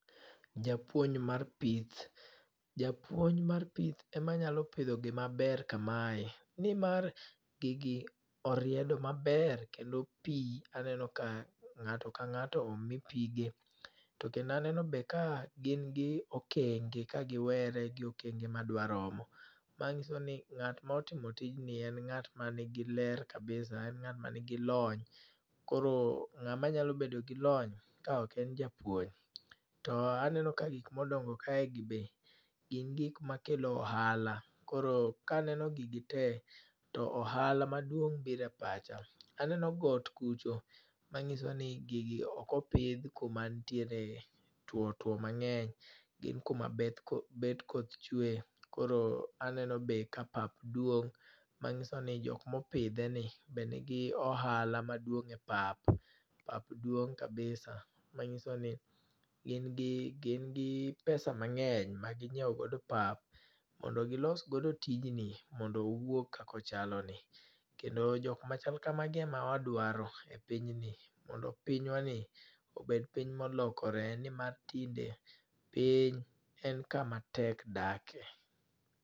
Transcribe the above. Japuonj mar pith. Japuonj mar pith ema nyalo pidho gima ber kamae. Nimar gigi oriedo maber, kendo pi aneno ka ngáto ka ngáto omi pige. To kendo aneno be ka gin gi okenge, ka giwere gi okenge ma dwa romo. Ma nyiso ni ngát ma otimo tijni en ngát ma nigi ler kabisa. En ngát ma nigi lony. Koro ngáma nyalo bedo gi lony, ka ok en japuonj. To aneno ka gik ma odongo kae gi be gin gik ma kelo ohala, koro ka aneno gigi te, to ohala maduong' biro e pacha. Aneno got kucho, manyiso ni gigi okopidh kuma ntiere two two mangény. Gin kuma beth, bet koth chwee. Koro aneno be ka pap duong' ma nyiso ni jokma opidhe ni be nigi ohala maduong' e pap. Pap duong' kabisa, manyiso ni gin gi, gin gi pesa mangény ma ginyiewo godo pap, mondo gilos godo tijni mondo owuog kaka ochaloni. Kendo jokma chal kamagi ema wadwaro e pinyni. Mondo pinywani, obed piny ma olokore ni mar tinde piny en kama tek dake.